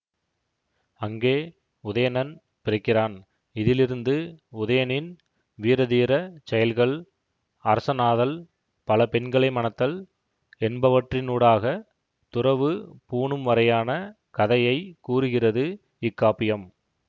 அங்கே உதயணன் பிறக்கிறான் இதிலிருந்து உதயணனின் வீரதீர செயல்கள் அரசனாதல் பல பெண்களை மணத்தல் என்பவற்றினூடாகத் துறவு பூணும்வரையான கதையை கூறுகிறது இக்காப்பியம்